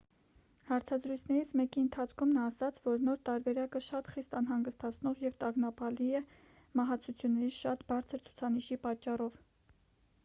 հարցազրույցներից մեկի ընթացքում նա ասաց որ նոր տարբերակը շատ խիստ անհանգստացնող և տագնապալի է մահացությունների շատ բարձր ցուցանիշի պատճառով